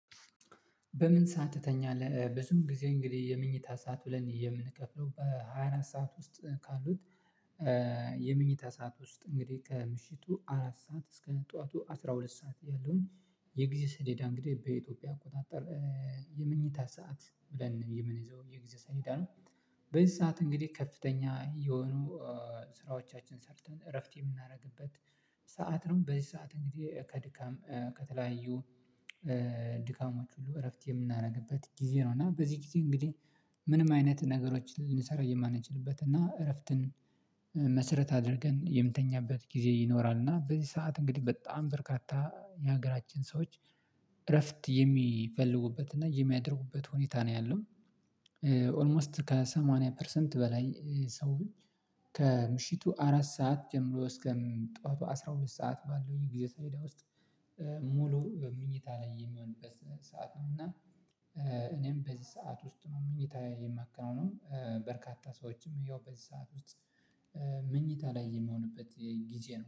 በምን ሰዓት ትተኛለህ? ብዙም ጊዜ እንግዲህ የምኝታ ሰዓት ብለን የምንከፍለው በሃያ አራት ሰዓት ውስጥ ካሉት የመኝታ ሰዓት ውስጥ እንግዲህ ከምሽቱ አራት ሰዓት እስከ ጠዋቱ አስራ ሁለት ሰዓት ያለውን የጊዜ ሰሌዳ እንግዲህ በኢትዮጵያ አቆጣጠር የምኝታ ሰዓት ብለን የምንይዘው የጊዜ ሰሌዳ ነው በዚህ ሰዓት እንግዲህ ከፍተኛ የሆኑ ስራዎቻችንን ሰርተን እረፍት የምናደርግበት ሰዓት ነው በዚህ ሰዓት እንግዲህ ከድካም ከተለያዩ ድካማችን ሁሉ እረፍት የምናደርግበት ጊዜ ነው እና በዚህ ጊዜ እንግዲህ ምንም አይነት ነገሮችን ልንሰራ የማንችልበት እና እረፍትን መሰረት አድርገን የምተኛበት ጊዜ ይኖራል እና በዚህ ሰዓት እንግዲህ በጣም በርካታ የሀገራችን ሰዎች እረፍት የሚፈልጉበት እና የሚያደርጉበት ሁኔታ ነው ያለው ኦልሞስት ከሰማንያ ፐርሰንት በላይ ሰውን ከምሽቱ አራት ሰዓት ጀምሮ እስከ ጠዋቱ አስራ ሁለት ሰዓት ባለው የጊዜ ሰሌዳ ውስጥ ሙሉ በምኝታ ላይ የሚሆንበት ሰዓት ነው እና እኔም በዚህ ሰዓት ውስጥ ነው ምኝታየን የማከናውነው በርካታ ሰዎችም ያው በዚህ ሰዓት ምኝታ ላይ የሚሆኑበት ጊዜ ነው።